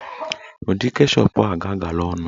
Ụdị keshọp a ga-agala ọnụ